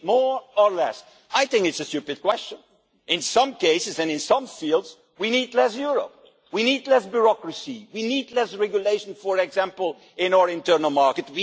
Do we need more or less? I think it is a stupid question. In some cases and in some fields we need less Europe. We need less bureaucracy, we need less regulation, for example in our internal